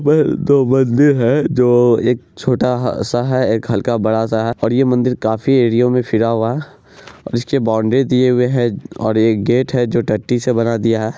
ये दो मन्दिर है जो एक छोटा-सा है एक हल्का-सा बड़ा-सा है और ये मन्दिर काफी एरिया में फैला हुआ है| इसके बाउंडरी दिए हुए है और ये एक गेट है जो टट्टी से बना दिया--